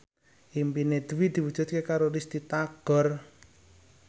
impine Dwi diwujudke karo Risty Tagor